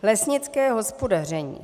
Lesnické hospodaření.